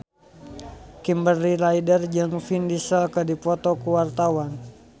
Kimberly Ryder jeung Vin Diesel keur dipoto ku wartawan